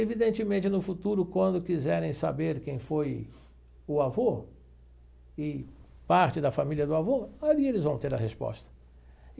Evidentemente, no futuro, quando quiserem saber quem foi o avô e parte da família do avô, ali eles vão ter a resposta.